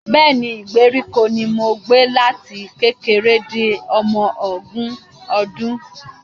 Bẹ́ẹ̀ni, ìgbèríko ni mo gbé láti kékeré di ọmọ ogún ọdún